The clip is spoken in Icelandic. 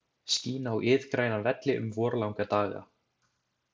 Skín á iðgræna velli um vorlanga daga.